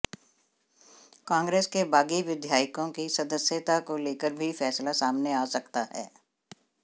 कांग्रेस के बागी विधायकों की सदस्यता को लेकर भी फैसला सामने आ सकता है